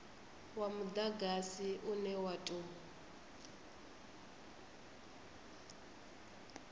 wa mudagasi une wa tou